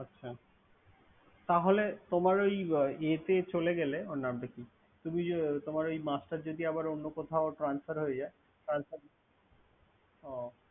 আচ্ছা তোমার ই ইয়ে তে চলে গে ওর নামটা কি? তোমার ওই মাস্টার আবার যদি অন্য কোথাও transfer হয়ে যায়।